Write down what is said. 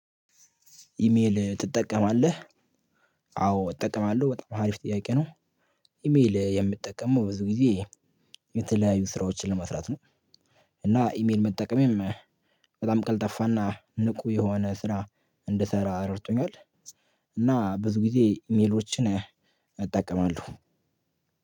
ኢሜል ትጠቀማለህ? አዎ እጠቀማለሁ በጣም አሪፍ ጥያቄ ነው። ኢሜል የምትጠቀመው ብዙ ጊዜ የተለያዩ ስራዎችን ለመስራት ነው እና ኢሜል መጠቀምም በጣም ቀልጠፋና ንቁ የሆነ ስራ እንድሰራ ረድቶኛል እና ብዙ ጊዜ ሜሎችን እጠቀማለሁ።